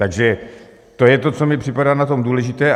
Takže to je to, co mi připadá na tom důležité.